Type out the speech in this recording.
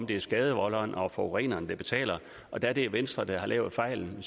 det er skadevolderen og forureneren der betaler og da det er venstre der har lavet fejlen